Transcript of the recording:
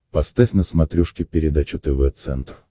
поставь на смотрешке передачу тв центр